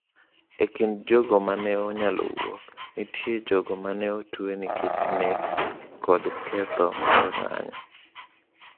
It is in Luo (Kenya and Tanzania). E kind jogo ma ne onyalo wuok, nitie jogo ma ne otwe nikech nek kod ketho mar ng’anjo.